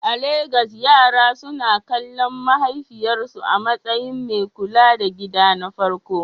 A Legas, yaran suna kallon mahaifiyarsu a matsayin mai kula da gida na farko?